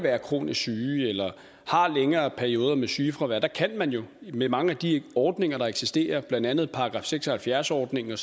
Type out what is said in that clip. være kronisk syge eller have længere perioder med sygefravær med mange af de ordninger der eksisterer blandt andet § seks og halvfjerds ordningen